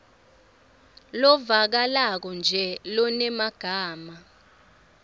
lovakalako nje lonemagama